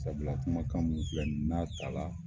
Sabula kuma kan min filɛ nin ye n'a ta la